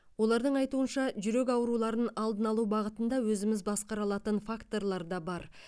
олардың айтуынша жүрек ауруларын алдын алу бағытында өзіміз басқара алатын факторлар да бар